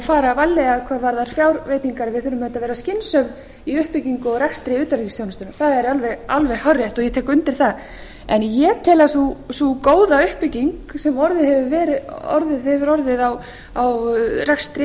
fara varlega hvað varðar fjárveitingar við þurfum auðvitað að vera skynsöm í uppbyggingu og rekstri utanríkisþjónustunnar það er alveg hárrétt og ég tek undir það en ég tel að sú góða uppbygging sem hefur orðið á rekstri